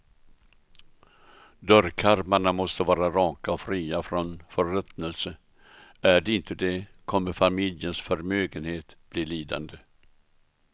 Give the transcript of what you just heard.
Dörrkarmarna måste vara raka och fria från förruttnelse, är de inte det kommer familjens förmögenhet bli lidande.